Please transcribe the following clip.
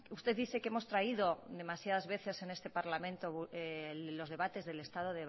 usted dice que hemos traído demasiadas veces en este parlamento los debates del estado